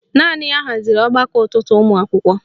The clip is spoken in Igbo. Naanị ya haziri ọgbakọ ụtụtụ ụmụakwụkwọ